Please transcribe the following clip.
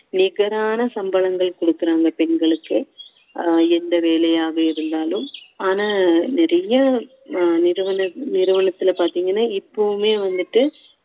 நிகரான சம்பளங்கள் கொடுக்கிறாங்க பெண்களுக்கு அஹ் எந்த வேலையாக இருந்தாலும் ஆனா நிறைய அஹ் நிறுவன~ நிறுவனத்துல பாத்தீங்கன்னா இப்பவுமே வந்துட்டு